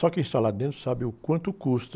Só quem está lá dentro sabe o quanto custa.